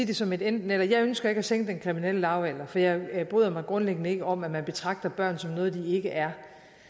det som et enten eller jeg ønsker ikke at sænke den kriminelle lavalder for jeg bryder mig grundlæggende ikke om at man betragter børn som noget de ikke er